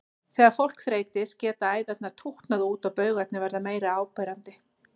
Þegar fólk þreytist geta æðarnar tútnað út og baugarnir verða meira áberandi.